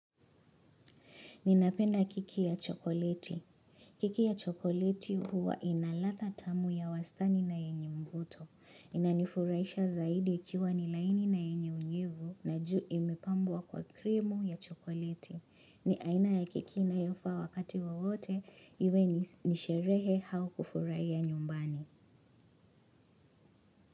Ninapenda keki ya chokoleti. Keki ya chokoleti huwa inaladha tamu ya wastani na yenye mvuto. Inanifuraisha zaidi ikiwa nil aini na yenye unyevu na juu imepambwa kwa krimu ya chokoleti. Ni aina ya keki inayofaa wakati wawote iwe ni sherehe au kufurahia nyumbani.